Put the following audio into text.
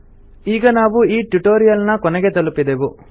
ಈಗ ನಾವು ಈ ಟ್ಯುಟೊರಿಯಲ್ ನ ಕೊನೆಗೆ ತಲುಪಿದೆವು